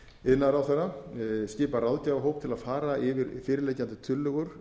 iðnaðarráðherra skipað ráðgjafahóp til að fara yfir fyrirliggjandi tillögur